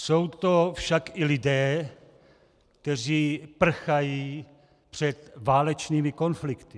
Jsou to však i lidé, kteří prchají před válečnými konflikty.